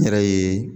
N yɛrɛ ye